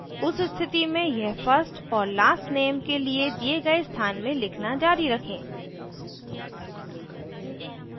उस स्थिति में यह first और लास्ट name के लिए दिए गए स्थान में लिखना जारी रखें